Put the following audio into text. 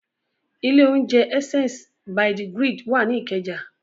Ilé-oúnjẹ Essence by the Grid wà ní Ìkẹjà.